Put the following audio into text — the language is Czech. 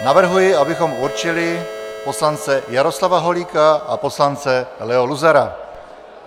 Navrhuji, abychom určili poslance Jaroslava Holíka a poslance Leo Luzara.